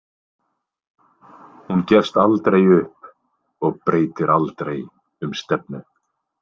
Hún gefst aldrei upp og breytir aldrei um stefnu.